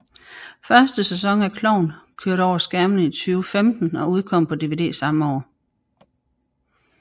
Første sæson af Klovn kørte over skærmen i 2005 og udkom på DVD samme år